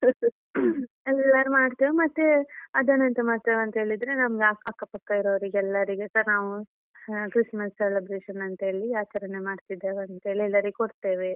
ಅಂದ್ರೆ ಯಾರ್ ಮಾಡ್ತೇವೆ ಮತ್ತೆ ಅದನ್ನ ಎಂಥ ಮಾಡ್ತೇವೆ ಅಂತೇಳಿದ್ರೆ ನಮ್ಗ ಅಕ್ಕ ಪಕ್ಕ ಇರೋವ್ರಿಗೆಲ್ಲರಿಗೆಸ ನಾವ್ ಹ Christmas celebration ಅಂತೇಳಿ ಆಚರಣೆ ಮಾಡ್ತಿದ್ದೇವೆ ಅಂತೇಳಿ ಎಲ್ಲರಿಗೆ ಕೊಡ್ತೇವೆ.